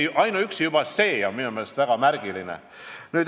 Ainuüksi juba see on minu meelest märgiline.